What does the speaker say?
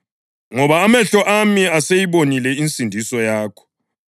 Ngoba amehlo ami aseyibonile insindiso yakho,